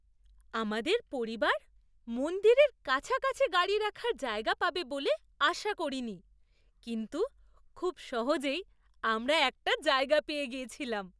আমাদের পরিবার মন্দিরের কাছাকাছি গাড়ি রাখার জায়গা পাবে বলে আশা করিনি, কিন্তু খুব সহজেই আমরা একটা জায়গা পেয়ে গিয়েছিলাম।